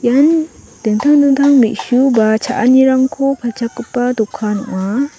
ian dingtang dingtang me·su ba cha·anirangko palchakgipa dokan ong·a.